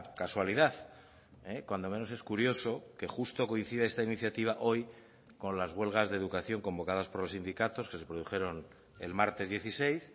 casualidad cuando menos es curioso que justo coincide esta iniciativa hoy con las huelgas de educación convocadas por los sindicatos que se produjeron el martes dieciséis